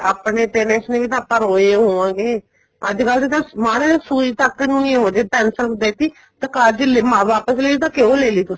ਆਪਣੇ parents ਨੇ ਵੀ ਤਾਂ ਆਪਾਂ ਰੋਏ ਹੋਵਾਗੇ ਅੱਜਕਲ ਤਾਂ ਮਾੜਾ ਜਾ ਸੂਰਜ ਤੱਕ ਨੂੰ ਨੀ ਉਹ ਜੇ pencil ਦੇਤੀ ਤਾਂ ਕਾਰਜ ਲੀ ਮਾਂ ਵਾਪਸ ਲਈ ਕਿਉਂ ਲੈ ਲੀ ਤੁਸੀਂ